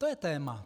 To je téma.